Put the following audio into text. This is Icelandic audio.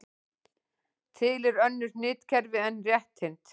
Til eru önnur hnitakerfi en rétthyrnd.